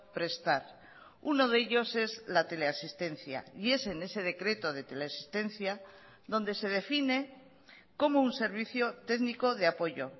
prestar uno de ellos es la teleasistencia y es en ese decreto de teleasistencia donde se define como un servicio técnico de apoyo